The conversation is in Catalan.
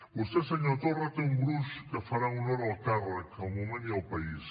vostè senyor torra té un gruix que farà honor al càrrec al moment i al país